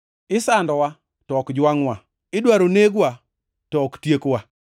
isandowa, to ok jwangʼwa; idwaro negwa, to ok tiekwa.